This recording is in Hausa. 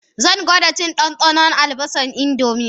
Zan gwada cin ɗanɗanon albasar indomie